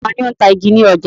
Ta ni ó ń ta igi ní ọjà?